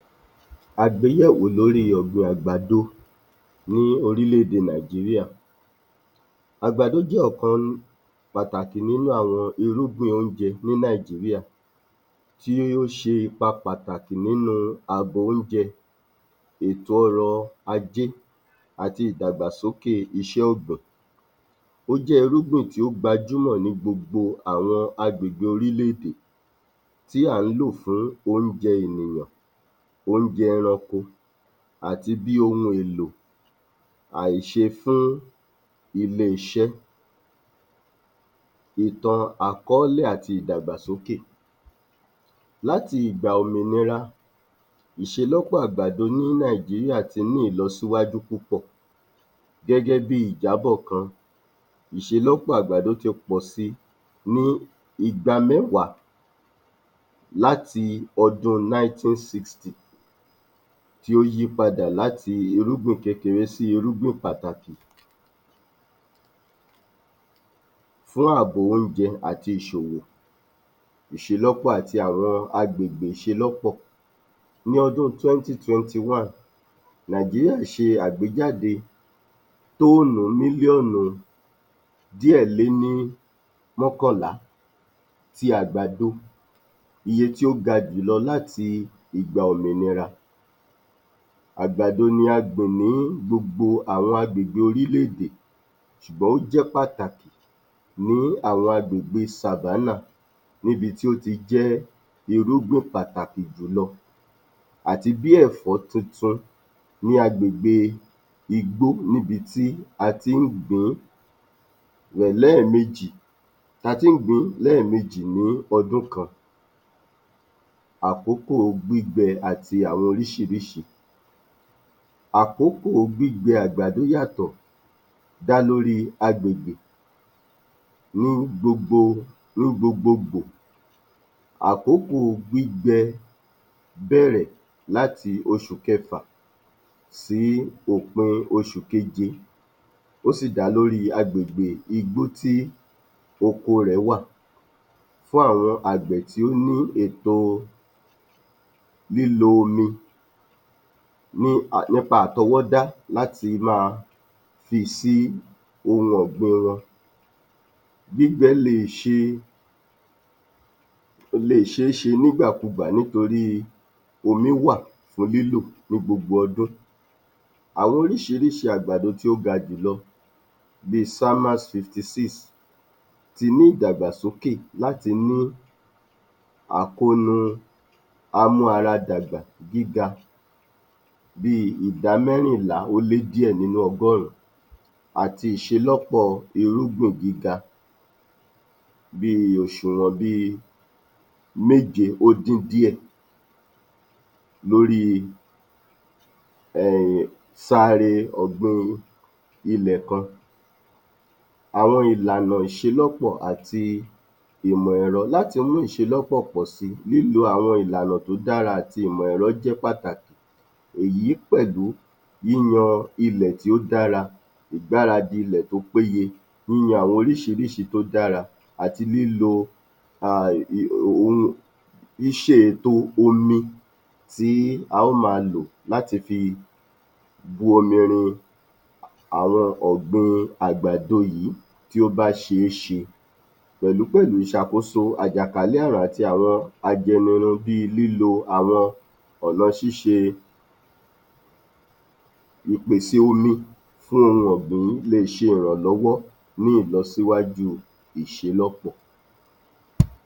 Àgbéyẹ̀wò lórí ọ̀gbìn àgbàdo ní orílẹ̀-èdè Nàìjíríà. Àgbàdo jẹ́ ọ̀kan pàtàkì nínú àwọn irúgbìn oúnjẹ ní Nàìjíríà tí ó ṣe ipa pàtàkì nínú àbò oúnjẹ, ètò ọrọ̀-ajé àti ìdàgbàsókè iṣẹ́ ọ̀gbìn. Ó jẹ́ irúgbìn tí ó gbajúmọ ní gbogbo àwọn agbègbè orílẹ̀-èdè tí à ń lò fún oúnjẹ ènìyàn, oúnjẹ ẹranko àti bí ohun èlò ìṣe fún ilé-iṣẹ́. Ìtàn àkọ́lẹ́ àti ìdàgbàsókè Láti ìgbà òmìnira, ìṣelọ́pọ̀ àgbàdo ní Nàìjíríà ti ní ìlọsíwájú púpọ̀ gẹ́gẹ́ bí i ìjábọ̀ kan, ìṣelọ́pọ̀ àgbàdo ti pọ̀ si ní igba mẹ́wàá láti ọdún 1960 tí ó yí padà láti irúgbìn kékére sí irúgbìn pàtàkì fún àbò oúnjẹ àti ìṣòwò. Ìṣelọ́pọ̀ àti àwọn agbègbè ìṣelọ́pọ̀ Ní 2021, Nàìjírìá ṣe àgbéjáde tọ́nù mílíọ́nù díẹ̀ lé ní mọ́kànlá ti àgbàdo. Iye tí ó ga jù lọ láti ìgbà òmìnira. Àgbàdo ni a gbìn ní gbogbo àwọn agbègbè orílẹ̀-èdè ṣùgbọ́n ó jẹ́ pàtàkì ní àwọn agbègbè savannah níbi tí ó ti jẹ́ irúgbìn pàtàkì jùlọ àti bí ẹ̀fọ́ tuntun ní agbègbè igbó níbi tí a tí ń gbìn-ín lẹ́ẹ̀mejì ní ọdún kan. Àkókò gbígbin àti àwọn oríṣìíríṣìí Àkókò gbígbin àgbàdo yàtọ dálélórí agbègbè ní gbogbogbò, àkókò gbígbin àgbàdo bẹ̀rẹ̀ láti oṣù kẹfà sí òpin oṣù kéje, ó sì dá lórí agbègbè igbó tí oko rẹ̀ wà. Fún àwọn àgbẹ̀ tí ó ní ètò lílo omi nípa àtọwọ́dá láti máa fi sí ohun ọ̀gbìn wọn, gbígbin lè ṣéṣe nígbàkugbà nítorí omi wà fún lílò ní gbogbo odún. Àwọn oríṣìíríṣìí àgbàdo tí ó ga jùlọ bí SAMMAZ 56 ti ní ìdàgbàsókè láti mú àkóónú amú-ara dàgbà gíga bí ìdámẹ́rìnlá ó lé díẹ̀ nínú ọgọ́run àti ìṣelọ́pọ̀ irúgbìn gíga bí, òṣùwọ̀n bí méje ó dín díẹ̀ lóri *sáre ọ̀gbìn ilẹ̀ kan. Àwọn ìlànà ìṣelọ́pọ̀ àti ìmọ̀-ẹ̀rọ Láti mú ìṣelọ́pọ̀ pọ̀ si, lílo àwọn ìlànà tó dára àti ìmọ̀-èrọ̀ jẹ́ pàtàkì. Èyí pẹ̀lú yíyan ilẹ̀ tí ó dára, ìgbáradì ilẹ̀ tó péye, yíyan àwọn oríṣìíríṣìí tó dára àti lílò, ṣíṣe ètò omi tí a ó máa lò láti fi bú omi rin àwọn ọ̀gbìn àgbàdo yìí tí ó bá ṣéṣe pẹ̀lú pẹ̀lú ìṣàkoso àjàkálẹ̀ àrùn àti àwọn ajẹnirun bí lílo àwọn ìpèsè omi fún ohun ọ̀gbìn le ṣe ìrànlọ́wọ́ fún ìlọsíwájú ìṣelọ́pọ̀.